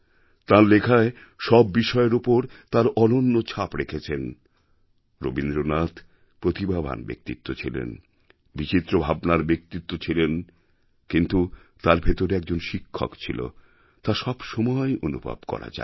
তাঁর লেখায় সব বিষয়ের উপর তাঁর অনন্য ছাপ রেখেছেন রবীন্দ্রনাথ প্রতিভাবান ব্যক্তিত্ব ছিলেন বিচিত্র ভাবনার ব্যক্তিত্ব ছিলেন কিন্তু তাঁর ভেতরে একজন শিক্ষক ছিল তা সবসময় অনুভব করা যায়